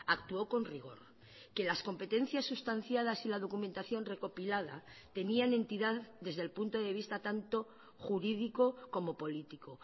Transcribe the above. actuó con rigor que las competencias sustanciadas y la documentación recopilada tenían entidad desde el punto de vista tanto jurídico como político